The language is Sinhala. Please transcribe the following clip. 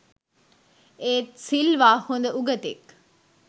එත් සිල්වා හොඳ උගතෙක්